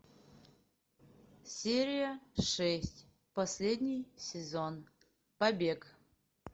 серия шесть последний сезон побег